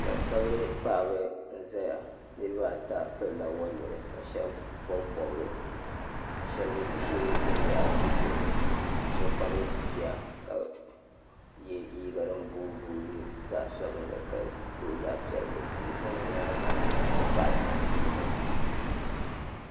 Gban sabili paɣaba n ʒɛya nirabaata pilila woliɣi ka shab bobi bobga shab ʒiri binyahari bi zuɣurini so kpabi bia ka so yɛ liiga din booi boogi zaɣ sabinli ka gabi zaɣ piɛlli tihi ʒɛ bi nyaanga n ti pahi tanti nima